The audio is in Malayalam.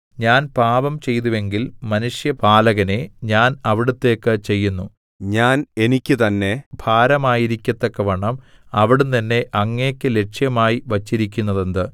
ഞാൻ പാപം ചെയ്തുവെങ്കിൽ മനുഷ്യപാലകനേ ഞാൻ അവിടുത്തേക്ക് ചെയ്യുന്നു ഞാൻ എനിയ്ക്ക് തന്നെ ഭാരമായിരിക്കത്തക്കവണ്ണം അവിടുന്ന് എന്നെ അങ്ങേക്ക് ലക്ഷ്യമായി വച്ചിരിക്കുന്നതെന്ത്